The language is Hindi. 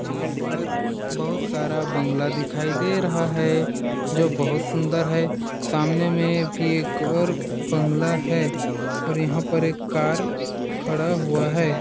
यहाँ पर बहुत सारा बंगला दिखाई दे रहा है जो बहुत सुंदर है सामने में भी एक और बंगला है और यहाँ पर एक कार खड़ा हुआ है।